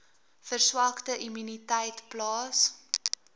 verswakte immuniteit plaas